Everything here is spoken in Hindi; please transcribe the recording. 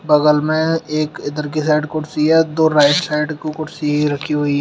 बगल में एक इधर के साइड कुर्सी है दो राइट साइड को कुर्सी है रखी हुई हैं।